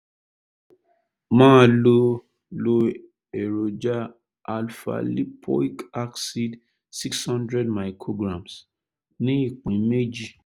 máa lo lo èròjà alpha-lipoic acid six hundred micrograms ní ìpín méjì